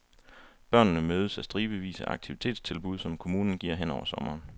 Børnene mødes af stribevis af aktivitetstilbud, som kommunen giver hen over sommeren.